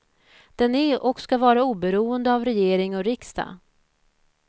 Den är och ska vara oberoende av regering och riksdag.